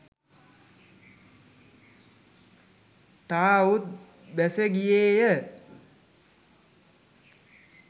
ට අවුත් බැස ගියේ ය.